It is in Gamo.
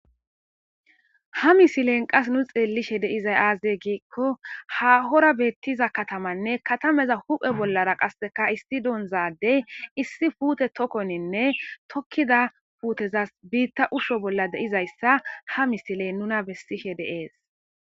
Ha misilen qasi nu xeellishe dizay aazee giikko ha katamay dishin ,katamaza hu7e bollara issi onza addey issi puute tokoninne tokkida puutezas biitta shiishonne ha misiley nuna besishe de7ees.